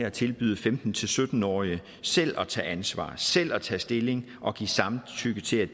at tilbyde femten til sytten årige selv at tage ansvar selv at tage stilling og give samtykke til at